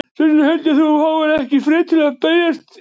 Þess vegna held ég að þú fáir ekki frið til að berjast ein.